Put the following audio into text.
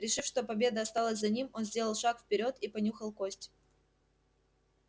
решив что победа осталась за ним он сделал шаг вперёд и понюхал кость